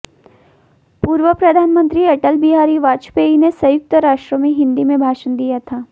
पूर्व प्रधानमंत्री अटल बिहारी वाजपेयी ने संयुक्त राष्ट्र में हिंदी में भाषण दिया था